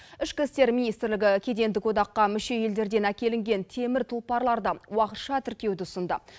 ішкі істер министрлігі кедендік одаққа мүше елдерден әкелінген темір тұлпарларды уақытша тіркеуді ұсынды